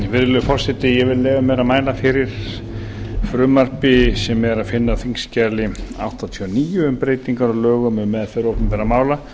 virðulegi forseti ég vil leyfa mér að mæla fyrir frumvarpi sem er að finna á þingskjali áttatíu og níu um breytingar á lögum um meðferð opinberra mála